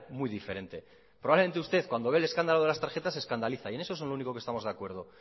muy diferente probablemente usted cuando ve el escándalo de las tarjetas se escandaliza y es eso es en lo único que estamos de acuerdo